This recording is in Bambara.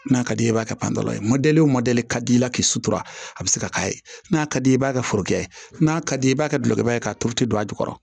N'a ka d'i ye i b'a kɛ panturan ye o ka d'i la k'i sutura a bɛ se ka k'a ye n'a ka di i ye i b'a kɛ foro kɛ n'a ka di ye i b'a kɛ gulɔ ye k'a tulu to a jukɔrɔ